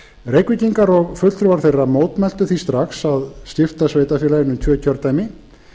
reykvíkingar og fulltrúar þeirra mótmæltu því strax að skipta sveitarfélaginu í tvö kjördæmi